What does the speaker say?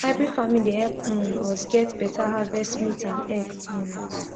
hybrid farming dey help um us get better harvest meat and egg um